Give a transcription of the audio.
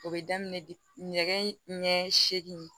O bɛ daminɛ de nɛgɛ ɲɛ seegin